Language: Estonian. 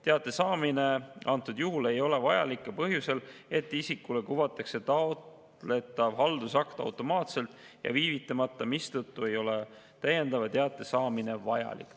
Teate saamine antud juhul ei ole vajalik ka põhjusel, et isikule kuvatakse taotletav haldusakt automaatselt ja viivitamata, mistõttu ei ole täiendava teate saamine vajalik.